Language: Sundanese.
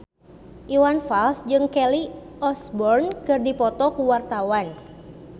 Iwan Fals jeung Kelly Osbourne keur dipoto ku wartawan